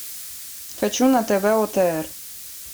хочу на тв отр